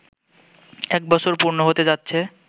এক বছর পূর্ণ হতে যাচ্ছে